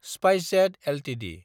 SpiceJet Ltd